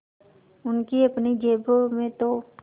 उनकी अपनी जेबों में तो